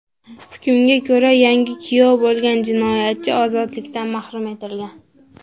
Hukmga ko‘ra, yangi kuyov bo‘lgan jinoyatchi ozodlikdan mahrum etilgan.